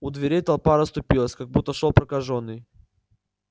у дверей толпа расступилась как будто шёл прокажённый